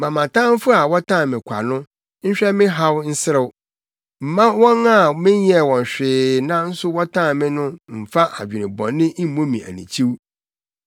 Mma mʼatamfo a wɔtan me kwa no nhwɛ me haw nserew. Mma wɔn a menyɛɛ wɔn hwee nanso wɔtan me no mmfa adwene bɔne mmu me anikyiw.